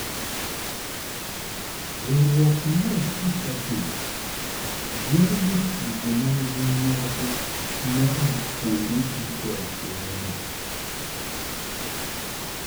Riwruok mar opich adhula yiero jotugo ma nigi nyadhi moa kuonde duto e pinyno.